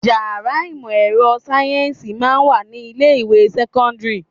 Ìyàrá ìmò ẹ̀rọ sáyẹ́ǹsì máa ń wà ní ilé ìwé sẹ́kọ́ńdírì.